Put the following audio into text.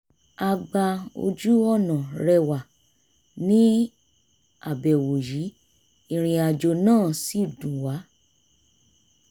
a gba ojú-ọ̀nà rẹwà ní àbẹ̀wò yìí ìrìnàjò náà sì dùn wa